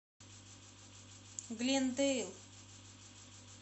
глендейл